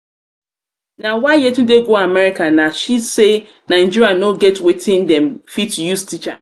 na why yetunde go america nah she say nigeria no get wetin dem fit use teach am